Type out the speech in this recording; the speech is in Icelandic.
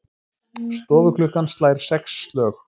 Stofuklukkan slær sex slög.